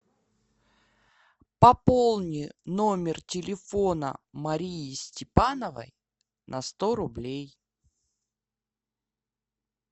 пополни номер телефона марии степановой на сто рублей